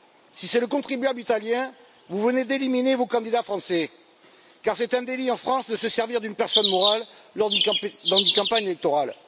Si c'est le contribuable italien, vous venez d'éliminer vos candidats français, car c'est un délit en France de se servir d'une personne morale lors d'une campagne électorale.